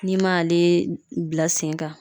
N'i m'ale bila sen kan